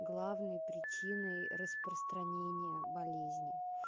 главные причины распространения болезни